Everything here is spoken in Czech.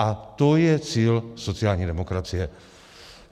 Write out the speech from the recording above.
A to je cíl sociální demokracie.